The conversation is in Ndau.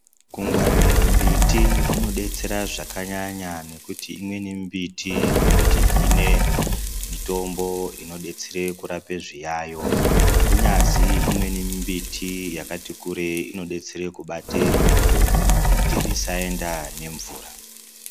Kungwarire mbiti kunobetsera zvakanyanya nekuti imweni mbiti inotihine mitombo inobetsera kurape zviyayo kunyazi imweni mbiti yakati kurei inobetsera kubatevhu kuti risaenda nemvura